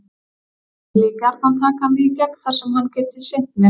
Hann vilji gjarnan taka mig í gegn þar sem hann geti sinnt mér.